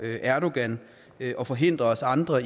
erdogan og forhindre os andre